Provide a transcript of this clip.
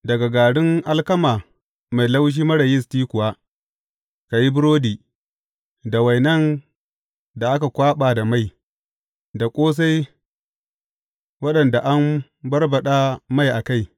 Daga garin alkama mai laushi marar yisti kuwa, ka yi burodi, da wainan da aka kwaɓa da mai, da ƙosai waɗanda an barbaɗa mai a kai.